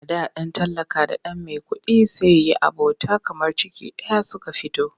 A da ɗan talaka da ɗan maikuɗi sai yi abota kamar ciki ɗaya suka fito.